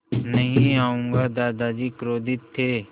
नहीं आऊँगा दादाजी क्रोधित थे